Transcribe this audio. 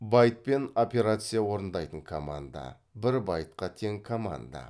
байтпен операция орындайтын команда бір байтқа тең команда